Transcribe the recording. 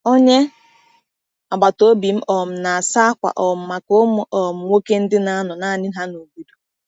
Onye agbata obi m um na-asa akwa um maka ụmụ um nwoke ndị na-anọ naanị ha n’obodo.